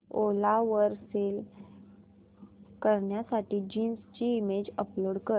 ओला वर सेल करण्यासाठी जीन्स ची इमेज अपलोड कर